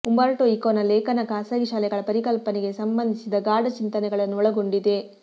Umberto ಇಕೊನ ಲೇಖನ ಖಾಸಗಿ ಶಾಲೆಗಳ ಪರಿಕಲ್ಪನೆಗೆ ಸಂಬಂಧಿಸಿದ ಗಾಢ ಚಿಂತನೆಗಳನ್ನು ಒಳಗೊಂಡಿದೆ